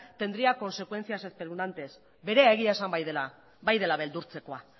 tendría consecuencias espeluznantes berea egia esan bai dela beldurtzekoa